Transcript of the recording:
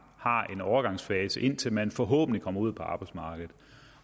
har en overgangsfase indtil man forhåbentlig kommer ud på arbejdsmarkedet